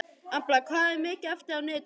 Embla, hvað er mikið eftir af niðurteljaranum?